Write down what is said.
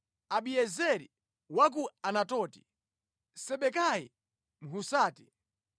Abiezeri wa ku Anatoti, Sibekai Mhusati,